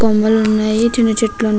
కొంగలు ఉన్నాయి. చిన్న చెట్లు ఉన్నాయి.